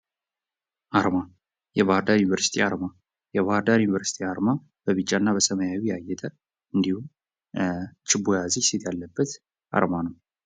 አርማ የባሕር ዳር ዩኒቨርሲቲ አርማ የባሕር ዳር ዩኒቨርሲቲ አርማ በብጫ እና በሰማያዊ ያጌጠ እንዲሁም፤ ችቦ የያዘች ሴት ያለበት አርማ ነው።